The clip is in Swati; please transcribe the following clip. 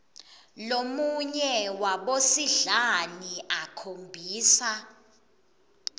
lomunye wabosidlani akhombisa